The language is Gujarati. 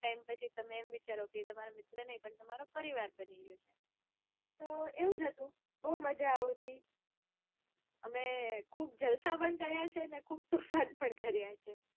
થોડોક તો વિચારો કે તમારા મિત્ર નાઈ પણ બની ગયો. તો એવું જ હતું ખુબ મજા આવતી. તો અમે ખુબ જલસા પણ કાર્ય છે ને ને ખુબ તોફાન પણ કાર્ય છે.